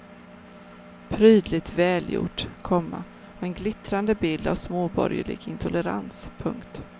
Prydligt välgjort, komma och en glittrande bild av småborgerlig intolerans. punkt